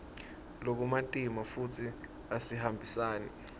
lokumatima futsi asihambisani